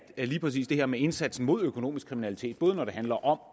at lige præcis det her med indsatsen mod økonomisk kriminalitet både når det handler om